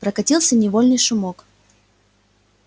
прокатился недовольный шумок